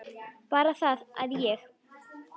Bara það að ég.